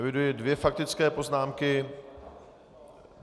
Eviduji dvě faktické poznámky.